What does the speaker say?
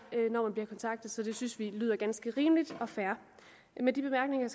når man bliver kontaktet det synes vi lyder ganske rimeligt og fair med de bemærkninger